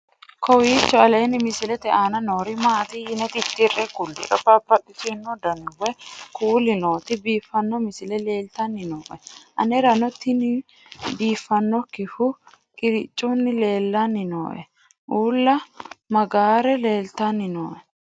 kowiicho aleenni misilete aana noori maati yine titire kulliro babaxino dani woy kuuli nooti biiffanno misile leeltanni nooe anera tinominu biifannokkihu qiricunnihu leellanni nooe ulla maagare leltanni nooe